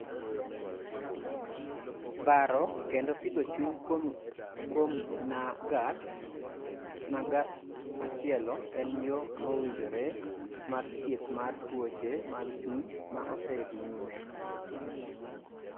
Baro kendo pidho chuny kuom nag'at machielo en yo mowinjre mar thieth mar tuoche mag chuny ma osedhi nyime.